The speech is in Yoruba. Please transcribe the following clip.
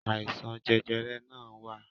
Àìsàn jẹjẹrẹ náà wa